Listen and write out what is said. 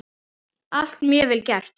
Allt mjög vel gert.